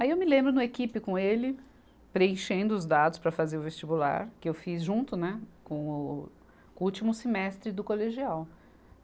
Aí eu me lembro no equipe com ele, preenchendo os dados para fazer o vestibular, que eu fiz junto, né, com o, com o último semestre do colegial.